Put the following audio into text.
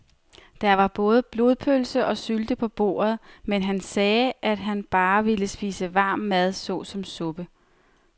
Der var både blodpølse og sylte på bordet, men han sagde, at han bare ville spise varm mad såsom suppe.